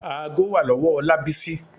Aago wà lọ́wọ́ Ọlábísí.